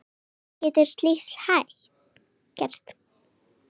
Hvernig getur slíkt gerst?